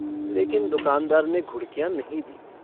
लेकिन दूकानदार ने घुड़कियाँ नहीं दीं।